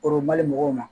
O mali mɔgɔw ma